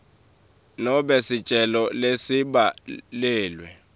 nobe sicelo lesibhaliwe